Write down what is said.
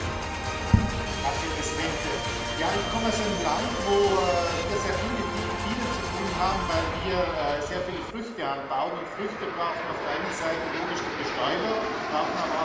Herr Präsident! Ich komme aus einem Land, wo wir sehr viel mit Bienen zu tun haben, weil wir sehr viele Früchte anbauen, und Früchte brauchen auf der einen Seite logisch die Bestäuber, brauchen aber auch Pflanzenschutz.